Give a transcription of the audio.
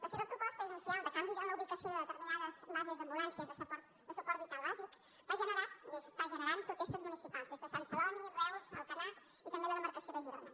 la seva proposta inicial de canvi en la ubicació de determinades bases d’ambulàncies de suport vital bàsica va generar i està generant protestes municipals des de sant celoni reus alcanar i també la demarcació de girona